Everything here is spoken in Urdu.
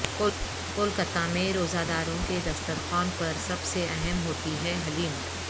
کولکاتہ میں روزہ داروں کے دسترخوان پر سب سے اہم ہوتی ہے حلیم